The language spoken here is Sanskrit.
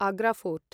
आग्र फोर्ट्